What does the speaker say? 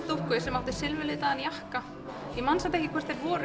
dúkku sem átti silfraðan jakka ég man samt ekki hvort þau voru